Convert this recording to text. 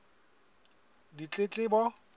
ditletlebo